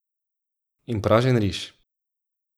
In pražen riž.